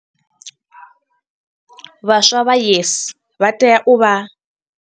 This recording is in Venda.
Vhaswa vha YES vha tea u vha.